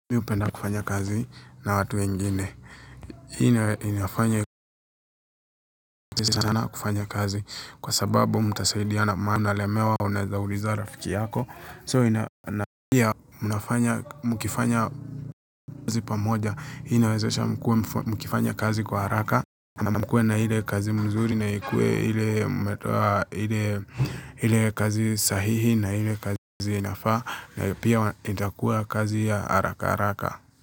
Miupenda kufanya kazi na watu wengine. Hii na inafanya sana kufanya kazi kwa sababu mtasaidiana maana unalemewa unawezauliza rafiki yako. So ina na pia mnafanya mkifanya kazi pamoja inawezesha mkue mkifanya kazi kwa haraka. Na mkue na hile kazi mzuri na hile kazi sahihi na hile kazi inafaa na pia itakuwa kazi ya haraka haraka.